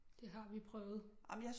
Det har vi prøvet